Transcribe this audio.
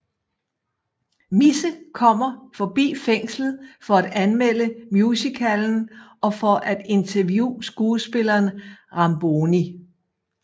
Misse kommer forbi fængslet for at anmelde musicalen og for at interviewe skuespilleren Ramboni